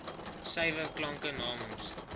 suiwer klanke namens